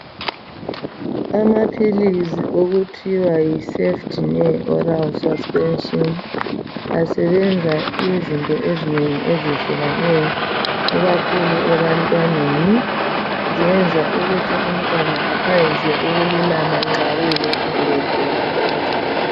Amaphilisi okuthiwa yi Cefdinir oral suspension asebenza izinto ezinengi ezehlukeneyo ikakhulu ebantwaneni zenza ukuthi umntwana aphangise ukululama nxa kuyikuthi ubegula okuzwayo.